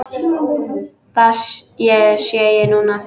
Það sé ég núna.